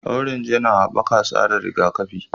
Orange yana haɓaka tsarin rigakafi